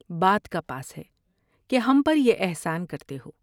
بات کا پاس ہے کہ ہم پر یہ احسان کرتے ہو ۔